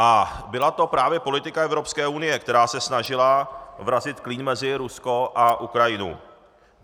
A byla to právě politika Evropské unie, která se snažila vrazit klín mezi Rusko a Ukrajinu.